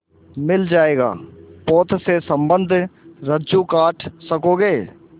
मिल जाएगा पोत से संबद्ध रज्जु काट सकोगे